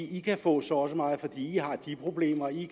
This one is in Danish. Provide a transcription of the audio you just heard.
i kan få så og så meget fordi i har de problemer i